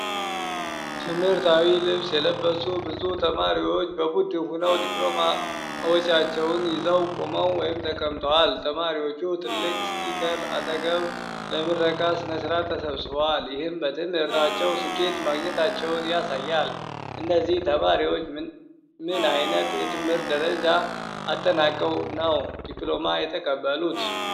ትምህርታዊ ልብስ የለበሱ ብዙ ተማሪዎች በቡድን ሆነው ዲፕሎማዎቻቸውን ይዘው ቆመዋል/ተቀምጠዋል። ተማሪዎቹ ትልቅ ስፒከር አጠገብ ለምረቃ ሥነ ሥርዓት ተሰብስበዋል፤ ይህም በትምህርታቸው ስኬት ማግኘታቸውን ያሳያል። እነዚህ ተማሪዎች ምን አይነት የትምህርት ደረጃ አጠናቀው ነው ዲፕሎማ የተቀበሉት?